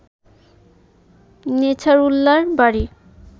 নেছারউল্লাহর বাড়ি